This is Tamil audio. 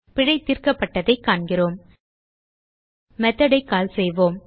பிழை தீர்க்கப்பட்டதைக் காண்கிறோம் மெத்தோட் ஐ கால் செய்வோம்